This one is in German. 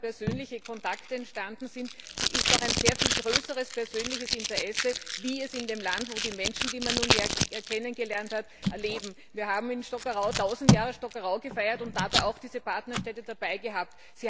Dort, wo einmal persönliche Kontakte entstanden sind, ist auch ein sehr viel größeres persönliches Interesse, wie die Menschen, die man näher kennengelernt hat, leben. Wir haben in Stockerau 1000 Jahre Stockerau gefeiert und dabei auch diese Partnerstädte dabei gehabt.